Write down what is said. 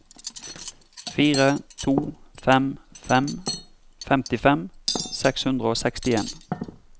fire to fem fem femtifem seks hundre og sekstien